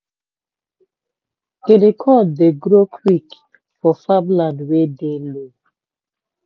guinea corn dey grow quick for farm land wey dey low.